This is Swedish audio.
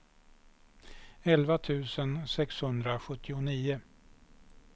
elva tusen sexhundrasjuttionio